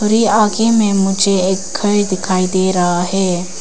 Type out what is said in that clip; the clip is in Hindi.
आगे मे मुझे एक घर दिखाई दे रहा है।